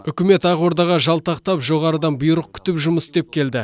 үкімет ақордаға жалтақтап жоғарыдан бұйрық күтіп жұмыс істеп келді